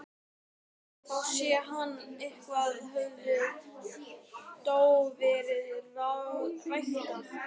Þá sá hann að eitthvað hafði þó verið ræktað.